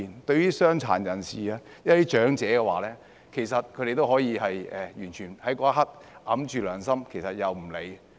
對於傷殘人士、長者，其實他們那一刻也可以完全掩蓋雙眼及良心，置諸不理。